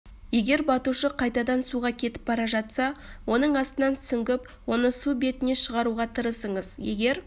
егер батушы қайтадан суға кетіп бара жатса оның астынан сүңгіп оны су бетіне шығаруға тырысыңыз егер